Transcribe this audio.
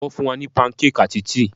Wón fún wa ní pancake àti tíì